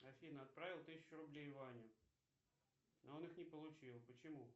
афина отправил тысячу рублей ване но он их не получил почему